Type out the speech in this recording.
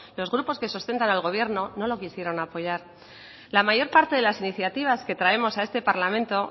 los grupos que sustentan al gobierno no lo quisieron apoyar la mayor parte de las iniciativas que traemos a este parlamento